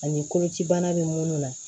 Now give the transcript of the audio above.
Ani koloci bana bɛ minnu na